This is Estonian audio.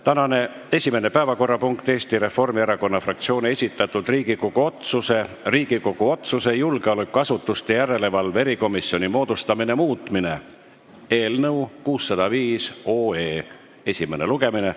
Tänane esimene päevakorrapunkt on Eesti Reformierakonna fraktsiooni esitatud Riigikogu otsuse "Riigikogu otsuse "Julgeolekuasutuste järelevalve erikomisjoni moodustamine" muutmine" eelnõu 605 esimene lugemine.